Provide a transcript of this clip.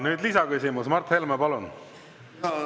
Nüüd lisaküsimus, Mart Helme, palun!